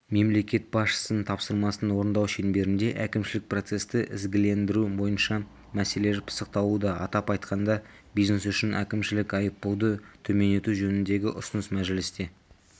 мемлекет басшысының тапсырмасын орындау шеңберінде әкімшілік процесті ізгілендіру бойынша мәселелер пысықталуда атап айтқанда бизнес үшін әкімшілік айыппұлды төмендету жөніндегі ұсыныс мәжілісте